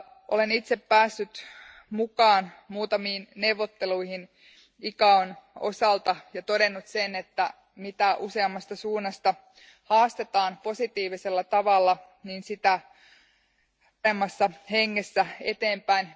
Olen itse päässyt mukaan muutamiin neuvotteluihin ICAOn osalta ja todennut sen, että mitä useammasta suunnasta haastetaan positiivisella tavalla, sitä paremmassa hengessä mennään eteenpäin.